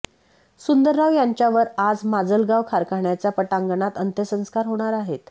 सुंदरराव यांच्यावर आज माजलगाव कारखान्याच्या पटांगणात अंत्यसंस्कार होणार आहेत